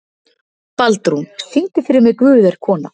Baldrún, syngdu fyrir mig „Guð er kona“.